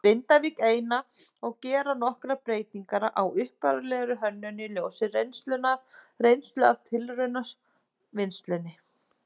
Grindavík eina og gera nokkrar breytingar á upphaflegri hönnun í ljósi reynslu af tilraunavinnslunni.